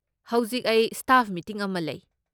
ꯍꯧꯖꯤꯛ ꯑꯩ ꯁ꯭ꯇꯥꯐ ꯃꯤꯇꯤꯡ ꯑꯃ ꯂꯩ꯫